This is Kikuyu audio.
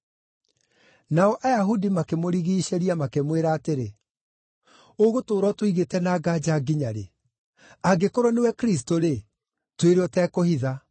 Nao Ayahudi makĩmũrigiicĩria makĩmwĩra atĩrĩ, “Ũgũtũũra ũtũigĩte na nganja nginya rĩ? Angĩkorwo nĩwe Kristũ-rĩ, twĩre ũtekũhitha.”